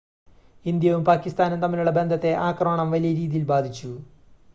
ഇന്ത്യയും പാകിസ്ഥാനും തമ്മിലുള്ള ബന്ധത്തെ ആക്രമണം വലിയ രീതിയിൽ ബാധിച്ചു